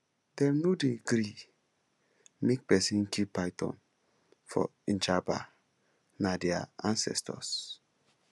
dem no dey gree make pesin kill python for njaba na their ancestors